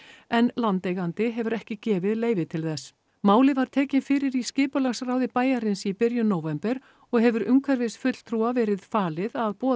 en landeigandi hefur ekki gefið leyfi til þess málið var tekið fyrir í skipulagsráði bæjarins í byrjun nóvember og hefur umhverfisfulltrúa verið falið að boða